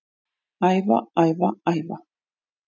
Æfa, æfa, æfa